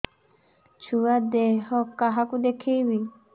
ଛୁଆ ଦେହ କାହାକୁ ଦେଖେଇବି